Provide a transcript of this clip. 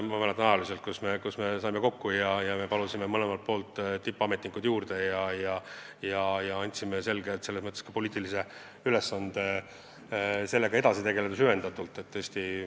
Ma mäletan, see oli aeg, kus me saime kokku ja palusime mõlemalt poolt tippametnikud juurde ja andsime neile poliitilises mõttes selge ülesande selle teemaga süvendatult edasi tegeleda.